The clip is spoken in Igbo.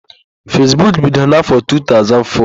Fesbuk bidoro n'áfọ̀ 2004.